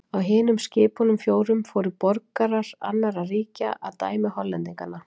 Á hinum skipunum fjórum fóru borgarar annarra ríkja að dæmi Hollendinganna.